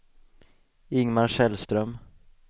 Ingemar Källström